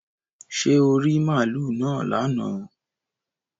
Ṣé oò rí màlúù náà lánàá